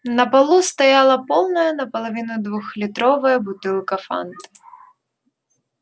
на полу стояла полная наполовину двухлитровая бутылка фанты